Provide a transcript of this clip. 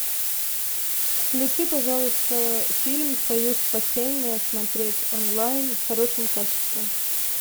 включи пожалуйста фильм союз спасения смотреть онлайн в хорошем качестве